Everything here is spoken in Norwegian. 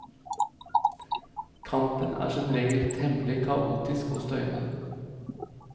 Kampen er som regel temmelig kaotisk og støyende.